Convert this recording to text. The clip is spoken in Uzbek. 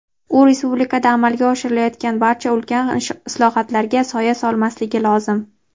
u respublikada amalga oshirilayotgan barcha ulkan islohotlarga soya solmasligi lozim.